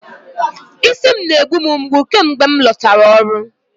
Isi m na-egbu m mgbu kemgbe m lọtara ọrụ